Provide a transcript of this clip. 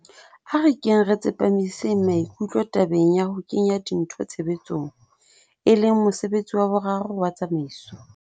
A re keng re tsepamiseng maikutlo tabeng ya ho kenya dintho tshebetsong, e leng mosebetsi wa boraro wa tsamaiso.